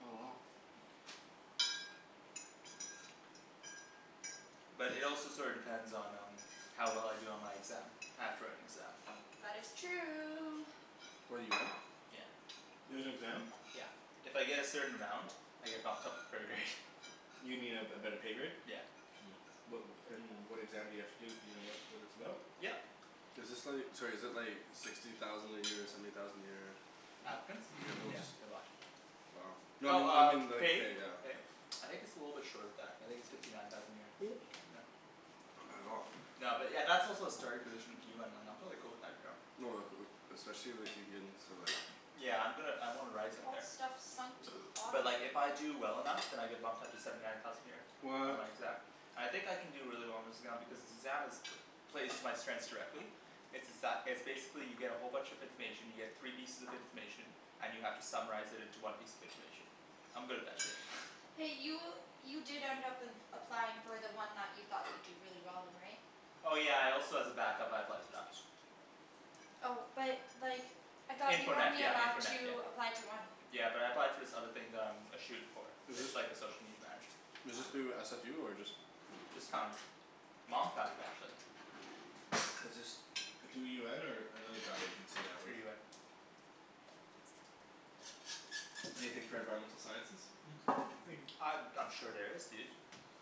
Oh. But it also sorta depends on um how well I do on my exam. I have to write an exam. That is true. For the UN? Yeah. There's an exam? Yeah. If I get a certain amount I get bumped up a pro grade. You mean a a better pay grade? Yeah. Mmm. What and what exam do you have to do, do you know what what it's about? Yep. Is this like, sorry is it like sixty thousand a year, seventy thousand a year? Applicants? Yeah, no Yeah, just they're a lot. Wow. No I Well mean, I mean um, like pay? pay, yeah. I think it's a little bit short of that. I think it's fifty nine thousand a year. Yeah. Not bad at all. No but yeah, that's also a starting position of UN, like I'm totally cool with that, you know. Oh like uh especially if you get in to like Yeah I'm gonna I wanna rise up All there. this stuff sunk to the But bottom. like if I do well enough then I get bumped up to seventy nine thousand a year. On What my exam. I think I can do really well on this exam because this exam is plays to my strengths directly. It's it's that, it's basically you get a whole bunch of information, you get three pieces of information and you have to summarize it into one piece of information. I'm good at that shit. Hey, you you did end up applying for the one that you thought you'd do really well in, right? Oh yeah I also as a backup I applied for that. Oh but like I thought you Info were net only yeah, info allowed net yeah. to apply to one. Yeah but I applied for this other thing that I'm a shoo in for. It's like the social media manager. Is this Ah. through SFU or just Just found it. Mom found it actually. Is this through UN or another job agency that Through was UN. Anything for environmental sciences? Mhm. Thank you. Uh I'm sure there is dude.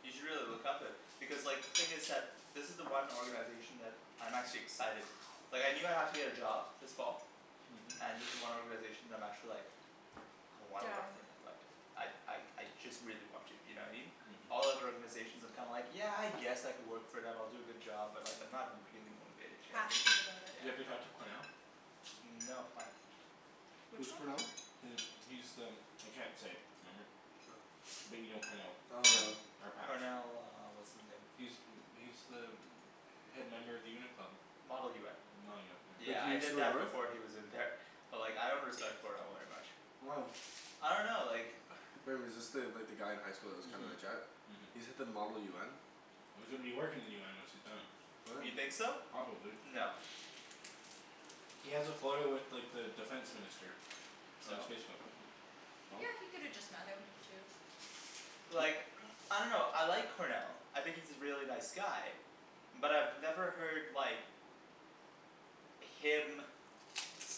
You should really look up it. Because like, thing is that this is the one organization that, I'm actually excited. Like I knew I'd have to get a job this fall. Mhm. And this is the one organization that I'm actually like I wanna work Down. for and I'd like I like I just really want to, you know what I mean? All Mhm. other organizations I'm kinda like, yeah I guess I could work for them, I'll do a good job, but like I'm not really motivated, you know what I mean? Passionate about it. Do you ever talk to Cornell? Mm no, why? Which Who's one? Cornell? He, he's the I can't say. Remember? Oh. But you know Cornell. Oh no. Our patch. Cornell uh what's his name. He's He's the head member of the UN club. Model UN. Model UN, yeah. Wait, Yeah did he I used to did go that north? before he was in there. But like I don't understand Cornell very much. Why? I dunno like Remember, is this the, like the guy in high school that was kind of a Mhm. jet? He's at the model UN? Well, he's gonna be working in the UN once he's done. What? You think so? Probably. No. He has a photo with like the defense minister. On his So? Facebook. Yeah, he could have just met him too. But like I dunno, I like Cornell. I think he's a really nice guy. But I've never heard like him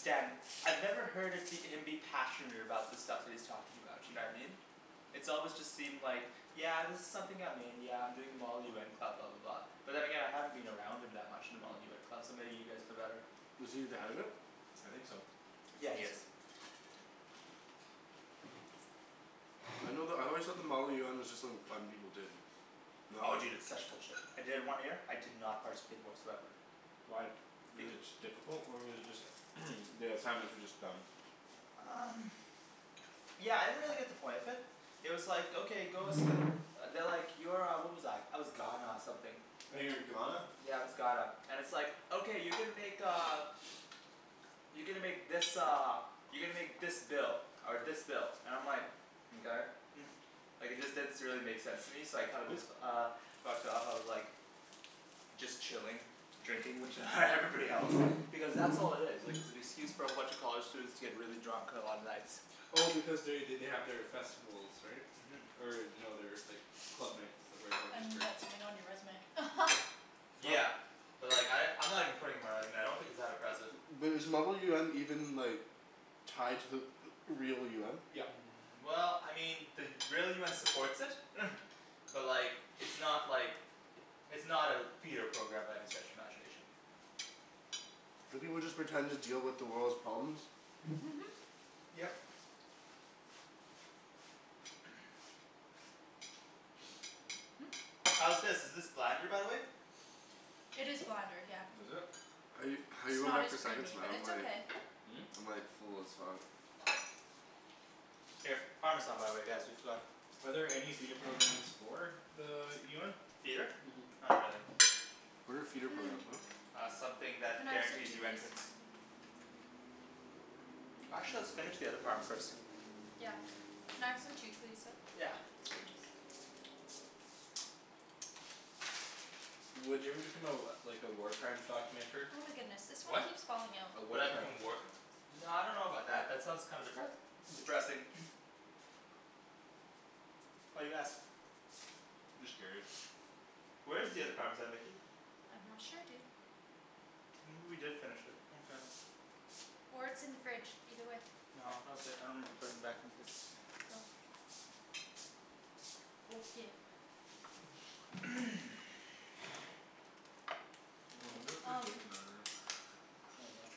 stand I've never heard of him be passionate about the stuff that he's talking about, you know what I mean? It's always just seemed like "Yeah this is something I'm in, yeah I'm doing the model UN club," blah blah blah. But then again I haven't been around him that much in the Model UN club, so maybe you guys know better. Was he the head of it? I think so. Yeah he is. I know the, I always thought the model UN was just like fun people did. No? Oh dude, it's such bullshit. I did it one year, I did not participate whatsoever. Why? Was it beca- just difficult or was it just the assignments were just dumb? Um Yeah, I didn't really get the point of it. It was like okay, go s- They're like, you're uh, what was I, I was Ghana something. Oh, you were Ghana? Yeah, I was Ghana. And it's like "Okay you're gonna make uh" You're gonna make this uh you're gonna make this bill." Or this bill. And I'm like "Mkay." Like it just didn't s- really make sense to me, so I kinda just uh fucked off, I was like just chilling. Drinking with everybody else. Because that's all it is. Like it's an excuse for a bunch of college students to get really drunk on a lot of nights. Well because they they they have their festivals, right? Mhm. Or no their like club nights, where everyone just And drinks. get something on your resume. But Yeah. But like I, I'm not even putting it on my resume. I don't think it's that impressive. But is model UN even like tied to the real UN? Yep. Mm well, I mean, the real UN supports it. But like it's not like it's not a feeder program by any stretch of imagination. Do people just pretend to deal with the world's problems? Yep. How's this, is this blander by the way? It is blander, yeah. Was it? How you How you It's going not back as for seconds creamy, man, but I'm it's like okay. I'm like full as fuck. Here. Parmesan by the way guys, you forgot. Are there any feeder programs for the UN? Feeder? Mhm. Not really. What are feeder Mmm. programs, what? Uh something Can that I have some guarantees too, you please? entrance. Actually let's finish the other parm first. Yeah. Can I have some too please, though? Yeah. Would you ever become a like a war crimes documenter? Oh my goodness, this one What? keeps falling out. A Would war I become crime. a work No I dunno about that, that sounds kinda depres- depressing. Why do you ask? Just curious. Where is the other parmesan Nikki? I'm not sure dude. Maybe we did finish it, okay. Or it's in the fridge, either way. No, no okay, I don't remember putting it back in the fridge. Oh. Okay. I wonder what they're Um doing in the other room. Oh well.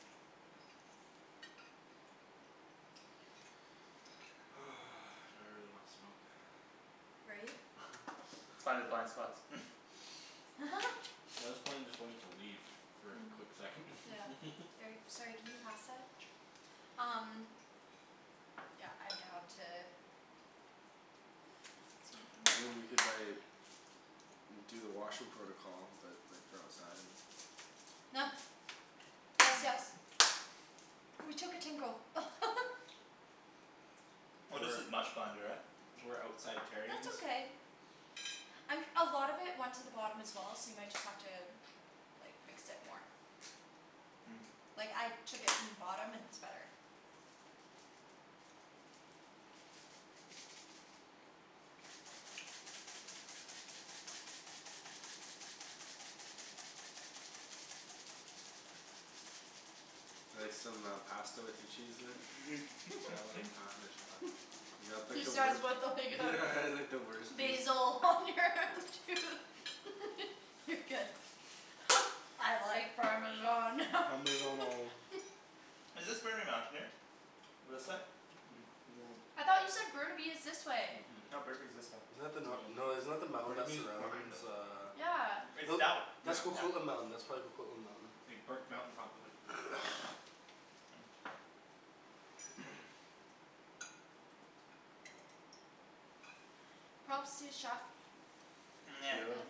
Now I really wanna smoke. Right? Let's find the blind spots. Well this plane is going to leave for a Hmm. quick second. Yeah. Or, sorry, can you pass that? Um Yeah, I'm down to I mean we could like do the washroom protocol, but like for outside. Gracias. Ooh, we took a tinkle. Oh this is much blander, eh? We're outside terrions. That's okay. Um a lot of it went to the bottom as well, so you might just have to like, mix it more. Mm. Like, I took it from the bottom and it's better. Like some uh pasta with your cheese there? I like parmesan. You got like He the wei- says what Yeah like the worst piece. Basil on your tooth. You're good. I like parmesan. Parmeggiano. Is this Burnaby Mountain here? This side? No. I thought you said Burnaby is this way. Mhm. No, Burnaby's this way. Isn't that the nor- no, isn't that the mountain that Burnaby is behind surrounds us. uh Yeah. It's that w- That's Yeah. Coquitlam Mountain. That's probably Coquitlam Mountain. Big Burke Mountain probably. Props to the chef. Pretty good.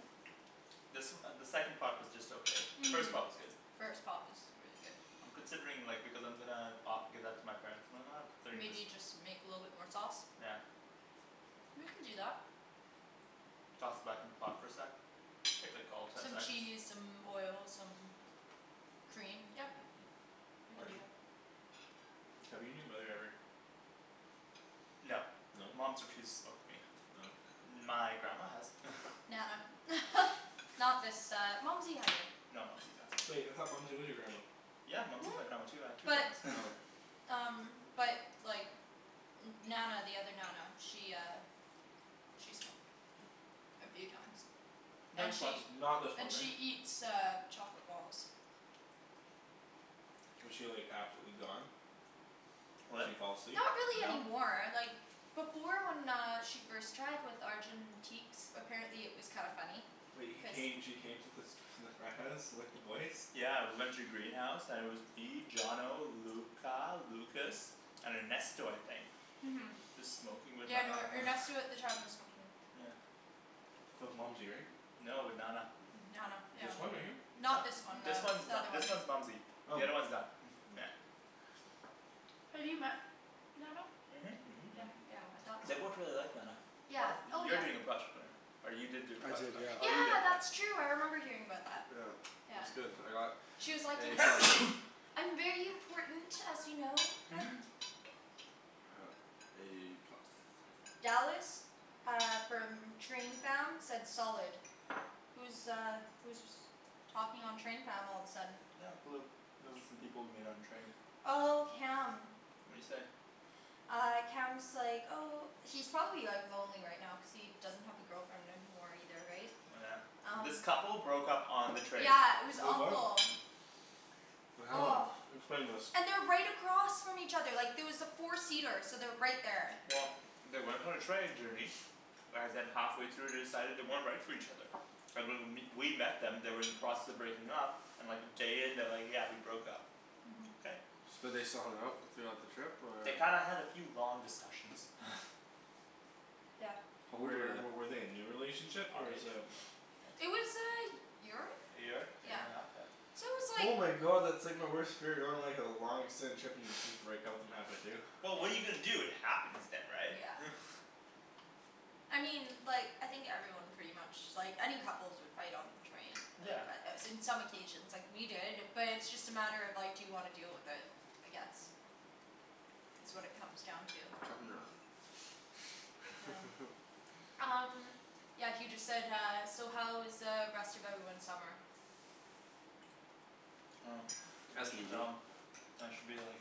This uh the second pot was just okay. The first pot was good. First pot was really good. I'm considering like, because I'm gonna o- give that to my parents and then uh considering Maybe just you just make a little bit more sauce. Yeah. We can do that. Toss it back in the pot for a sec. Take like all of ten Some seconds. cheese, some oil, some cream, yep. We can do Arjan? that. Have you and your mother ever No. No? Mom's refused to smoke with me. Oh. My grandma has. Nana. Not this uh, Mumsy hasn't. No Mumsy's awesome. Wait, I thought Mumsy was your grandma? Yeah Mumsy is my grandma too. I have two But grandmas. um But like N- Nana the other Nana, she uh She smoked. A few times. Nah And just once. she Not this one, And right? she eats uh chocolate balls. Was she like absolutely gone? She What? fall asleep? Not really No. anymore, like before when she uh first tried, with Arjan in teaks, apparently it was kinda funny. Wait, he came, she came to fas- the frat house with the boys? Yeah we went to the greenhouse and it was me, Johnno, Luca, Lucas, and Ernesto I think. Mhm. Just smoking with Yeah no, Nana. Ernesto at the time was smoking. Yeah. That was Mumsy, right? No, with Nana. Nana, yeah. This one right here? No. Not this one This then. one's The n- other one. this one's Mumsy. The Oh. other's one Na- Yeah. Have you met Nana? Mhm. Yeah yeah, I thought They so. both really liked Nana. One Yeah, of, oh you're yeah. doing a project on her. Or you did do a I project did, on her. yeah. Oh you did, Yeah yeah. that's true, I remember hearing about that. Yeah. It was Yeah. good. I got She was like A "Yes!" plus. "I'm very important, as you know." A plus. Dallas. Uh from train fam, said solid. Who's uh who's was talking on train fam all of a sudden? Not a clue. Those are some people we met on the train. Oh, Cam. What'd he say? Uh Cam's like, oh He's probably like lonely right now cuz he doesn't have the girlfriend anymore either, right? Oh yeah. Um This couple broke up on the train. Yeah, it was Wait what? awful. What happened? Oh. Explain this. And they're right across from each other, like there was a four seater, so they're right there. Well they went on a training journey. And then halfway through they decided they weren't right for each other. And when w- we met them they were in the process of breaking up and like a day in they're like "Yeah, we broke up." Mhm. Okay. So they still hung out throughout the trip or? They kinda had a few long discussions. Yep. How old were Were w- they? were they a new relationship or is um It was a y- year? A year, a year and a half? Yeah. So it was Oh like my god, that's like my worst fear, going on like a long extended trip and you just break up with them halfway through. Well what are you gonna do, it happens then right? Yeah. I mean like, I think everyone pretty much, like any couples would fight on the train. Yeah. Uh in some occasions. Like we did, but it's just a matter of, like, do you wanna deal with it. I guess. Is what it comes down to. Cut and Hmm. run. Yeah. Um Yeah he just said uh, "So how was uh rest of everyone's summer?" Oh. Ask That's me, boo. dumb. I should be like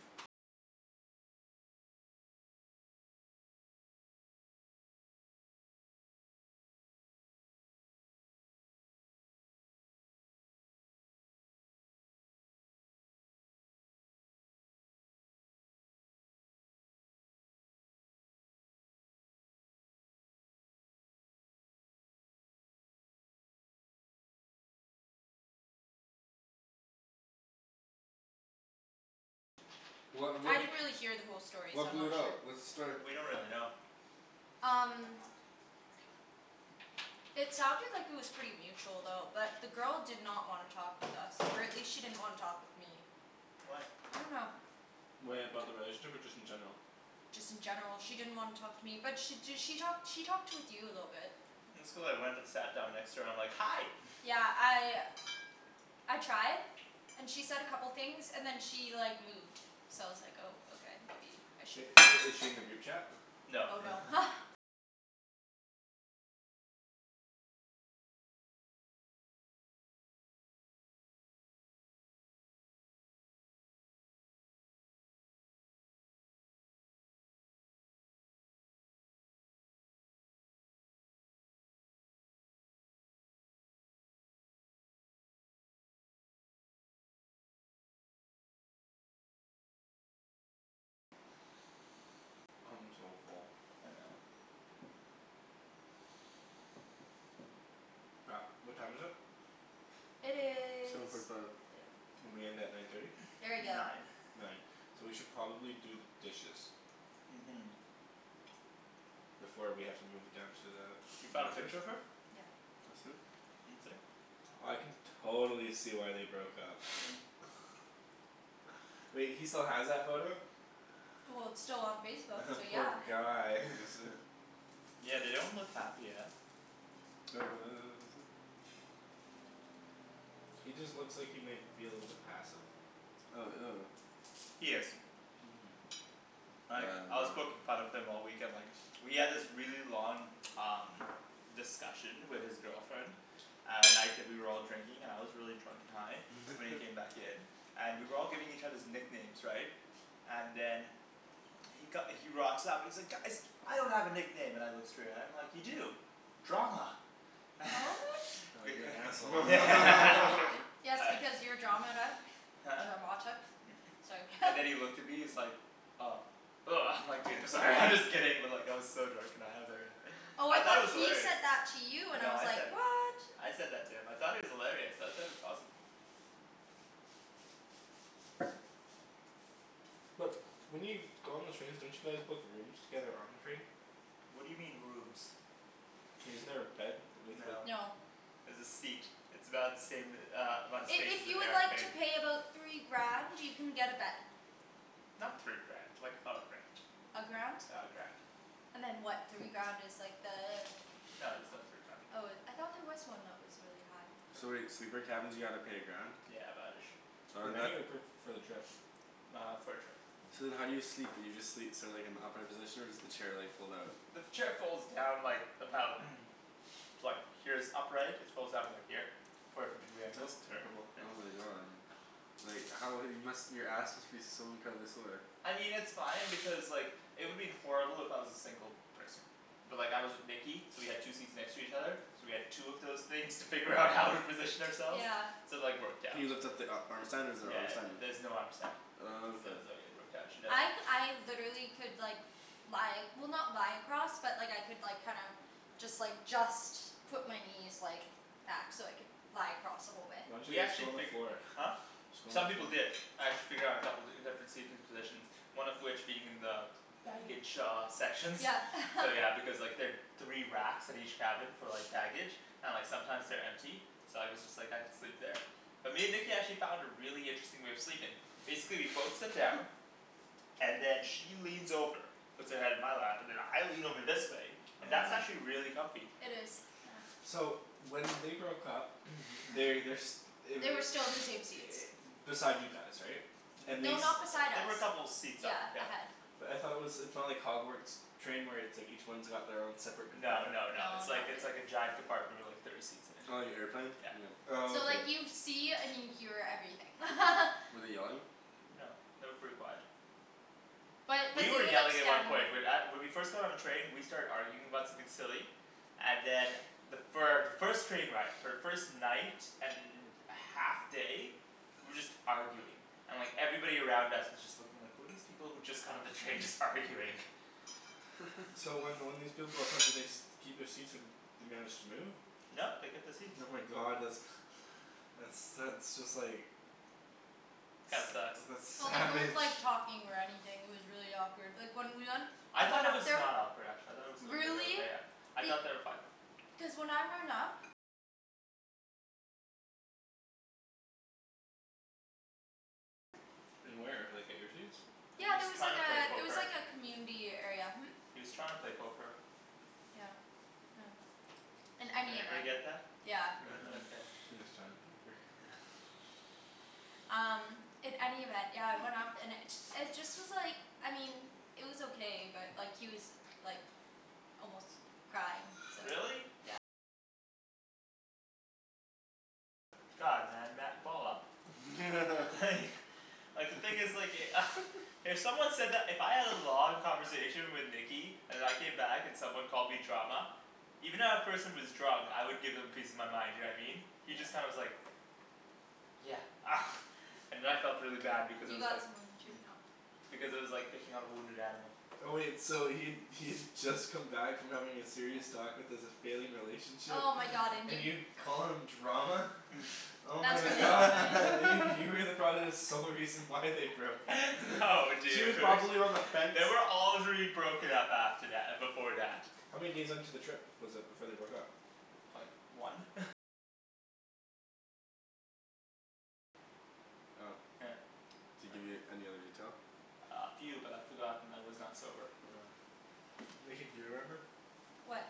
What I what d- didn't really hear the whole story so What I'm blew not it out? sure. What's the story? We don't really know. Um It sounded like it was pretty mutual though. But the girl did not wanna talk with us, or at least she didn't wanna talk with me. Why? I dunno. Wait, about the relationship or just in general? Just in general she didn't wanna talk to me. But she d- she talked she talked with you a little bit. It's cuz I went and sat down next to her, I'm like "Hi." Yeah, I I tried. And she said a couple things, and then she like moved. So I was like oh okay, maybe I But shouldn't i- is she in the group chat? No. Oh no. I'm so full. I know. Crap. What time is it? It Seven is forty five. Yeah. We end at nine thirty? Very good. Nine. Nine. So we should probably do the dishes. Mhm. Before we have to move it down to the You found a picture of her? Yeah. That's it? Let me see. I can totally see why they broke up. Wait, he still has that photo? Well it's still on Facebook, The so poor yeah. guy. Yeah they don't look happy, eh? He just looks like he might be a little bit passive. Oh, ew. He is. Mhm. Like, Damn I was man. poking fun of him all weekend, like We had this really long um discussion with his girlfriend at night that we were all drinking, and I was really drunk and high. So when he came back in and we were all giving each others nicknames, right? And then he co- he rocks up and he's like "Guys!" "I don't have a nickname." And I look straight at him, I'm like, "You do. Drama." Oh you're an asshole. Yes because you're drama, right? Huh? Dramatic? It's like And then he looked at me, he's like, "Oh." Woah I'm like, "Dude I'm sorry, I'm just kidding." But like I was so drunk and high I was like uh Oh I I thought thought it was he hilarious. said that to you, and I No was I like, said it. what? I said that to him. I thought it was hilarious, I thought it was awesome. But, when you go on the trains don't you guys book rooms together on the train? What do you mean rooms? Isn't there a bed? No. No. There's a seat. It's about the same uh amount of I- space if as an you would like to airplane. pay about three grand, you can get a bed. Not three grand. Like a grand. A grand? Yeah, a grand. And then what, three grand is like the No there's no three grand. Oh it, I thought there was one that was really high. So wait, sleeper cabins you gotta pay a grand? Yeah about ish. Oh Per and that night or per, for the trip? Uh for the trip. So then how do you sleep, do you just sleep so like in the upright position? Or does the chair like fold out? The chair folds down like, about like, here's upright, it folds out about here. Forty five degree angles. That's terrible. Oh my god. Like how, you must, your ass must be so incredibly sore. I mean it's fine because like, it would have been horrible if I was a single person. But like I was with Nikki, so we had two seats next to each other. So we had two of those things to figure out how to position ourselves. Yeah. So like worked Can out. you lift up the a- arm stand, or is there an Yeah arm stand? there's no arm stand. Oh, So okay. it was like it worked out, I c- I literally could like lie, well not lie across, but like I could like kinda just like, just put my knees like back so I could lie across the whole way. Why didn't We you just actually go on the figu- floor? Huh? Just go on the Some people floor. did. I had to figure out a couple, different seating positions. One of which being in the baggage shaw sections. Yeah. So yeah because like there three racks at each cabin for like baggage and like sometimes they're empty. So I was just like, I could sleep there. But me and Nikki actually found a really interesting way of sleeping. Basically we'd both sit down. And then she leans over. Puts her head in my lap. And then I lean over this way. And that's actually really comfy. It is, yeah. So when they broke up, they, they're s- They were They were still in the same seats. beside you guys, right? And they No, s- N- not beside They us. were a couple of seats up, Yeah. yeah. Ahead. But I thought it was, it's not like Hogwarts train where it's like each one's got their own separate No compartment? no no, No, it's like not it's like a really. giant compartment with like thirty seats in it. Oh you airplaned? Yeah. Oh So okay. like you see and you hear everything. Were they yelling? No. They were pretty quiet. But, but You were they were like yelling at one standing point, but at- when we first got on the train we started arguing about something silly. And then the fir- the first train ride, for the first night and half day we were just arguing. And like, everybody around us was just looking like, who are these people who just got on the train just arguing? So when when these people broke up, did they st- keep their seats or they managed to move? No they kept the seats. Oh my god, that's that's that's just like That sucks. that's Well, they savage. weren't like talking or anything, it was really awkward. Like when we went I thought it was not awkward actually. I thought it was mid- Really? okay. I Be- thought they were fine. Cuz when I went up In where, like at your seats? He Yeah was there was trying like to a, play there was poker. like a community area, hm? He was trying to play poker. Yeah. Yeah. In Did any everybody event. get that? Yeah. You got that up there. He was trying to poke her. Um, in any event, yeah it went off, and it ju- it just was like, I mean it was okay but like he was like almost crying, so Really? God, man, ma- ball up. Like Like the thing is like e- If someone said that, if I had a long conversation with Nikki and I came back and someone called me drama even if that person was drunk, I would give them a piece of my mind, you know what I mean? He just kinda was like "Yeah." And then I felt really bad because I You was got like some on your tooth now. because it was like picking on a wounded animal. Oh wait, so he'd he'd just come back from having a serious talk with his failing relationship, Oh my god and and you you call him drama? Oh That's my really not god. nice. You were probably the sole reason why they broke up. No She was dude. probably on the fence. They were already broken up after tha- before that. How many days into the trip was it before they broke up? Like one? Oh. Yeah. Did he give you any other detail? Uh a few but I forgot and I was not sober. Oh. Nikki, do you remember? What?